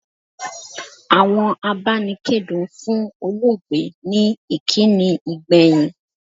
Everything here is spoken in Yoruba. Àwọn abanikedun fún olóògbé ní ìkíni ìgbẹ̀yìn.